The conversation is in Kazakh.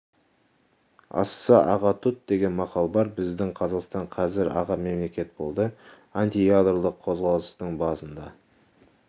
асса аға тұт деген мақал бар біздің қазақстан қазір аға мемлекет болды антиядролық қозғалыстың басында